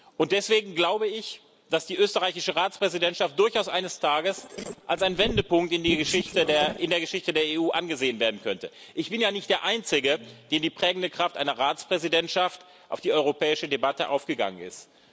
Und deswegen glaube ich, dass die österreichische Ratspräsidentschaft durchaus eines Tages als ein Wendepunkt in der Geschichte der EU angesehen werden könnte. Ich bin ja nicht der Einzige, dem die prägende Kraft einer Ratspräsidentschaft auf die europäische Debatte aufgegangen ist.